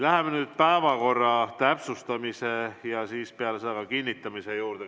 Läheme nüüd päevakorra täpsustamise ja peale seda kinnitamise juurde.